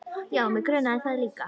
Já, mig grunaði það líka.